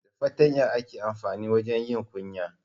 Da fatanya aka amfanin wajen yin kunya.